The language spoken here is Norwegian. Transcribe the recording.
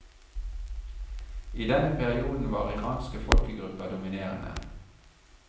I denne perioden var iranske folkegrupper dominerende.